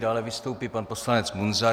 Dále vystoupí pan poslanec Munzar.